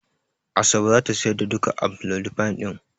Asabe za ta sayar da duka amlodipine din.